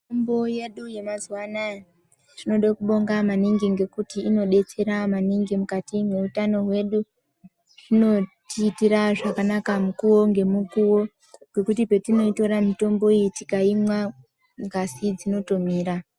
Mitombo yedu yamazuva anaya, tinode kubonga maningi ngekuti inobetsera maningi mukati mweutano hwedu. Zvinotiitira zvakanaka mukuvo ngemukuvo nekuti petinoitora mitombo iyi tikaimwa ngazi dzinotomira.